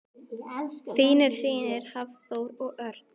Þínir synir Hafþór og Örn.